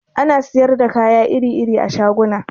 Ana siyar da kaya iri-iri a shaguna